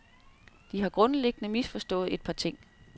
De har grundlæggende misforstået et par ting.